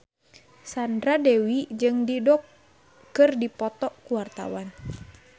Sandra Dewi jeung Dido keur dipoto ku wartawan